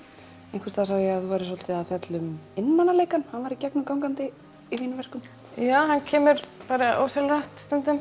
einhvers staðar sá ég að þú værir svolítið að fjalla um einmanaleikann hann væri gegnumgangandi í þínum verkum já hann kemur ósjálfrátt stundum